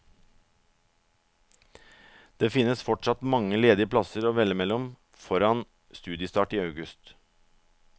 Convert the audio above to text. Det finnes fortsatt mange ledige plasser å velge mellom foran studiestart i august.